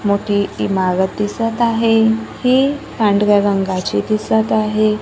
मोठी इमारत दिसत आहे ही पांढऱ्या रंगाची दिसत आहे.